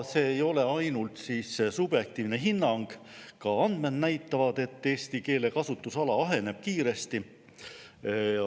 See ei ole ainult subjektiivne hinnang, ka andmed näitavad, et eesti keele kasutusala aheneb kiiresti.